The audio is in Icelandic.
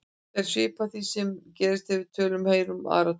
Þetta er svipað því sem gerist þegar við tölum og heyrum aðra tala.